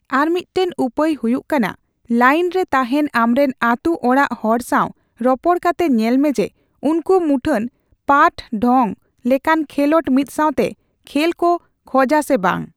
ᱟᱨᱢᱤᱫᱴᱟᱝ ᱩᱯᱟᱹᱭ ᱦᱩᱭᱩᱜ ᱠᱟᱱᱟ, ᱞᱟᱭᱤᱱ ᱨᱮ ᱛᱟᱦᱮᱸᱱ ᱟᱢᱨᱮᱱ ᱟᱹᱛᱩᱚᱲᱟᱜ ᱦᱚᱲ ᱥᱟᱣ ᱨᱚᱯᱚᱲ ᱠᱟᱛᱮ ᱧᱮᱞᱢᱮ ᱡᱮ, ᱩᱱᱠᱩ ᱢᱩᱠᱷᱟᱹᱱ ᱯᱟᱴᱼᱰᱷᱚᱝ ᱞᱮᱠᱟᱱ ᱠᱷᱮᱞᱚᱰ ᱢᱤᱫᱥᱟᱣᱛᱮ ᱠᱷᱮᱞ ᱠᱚ ᱠᱷᱚᱡᱟ ᱥᱮ ᱵᱟᱝ ᱾